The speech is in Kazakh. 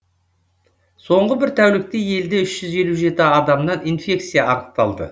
соңғы бір тәулікте елде үш жүз елу жеті адамнан инфекция анықталды